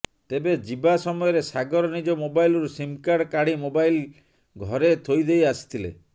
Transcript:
ତେବେ ଯିବା ସମୟରେ ସାଗର ନିଜ ମୋବାଇଲରୁ ସିମ କାର୍ଡ କାଢି ମୋବାଇଲ ଘରେ ଥୋଇଦେଇ ଆସିଥିଲେ